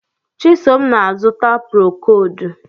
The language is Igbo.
Chisom na-azụta prokodu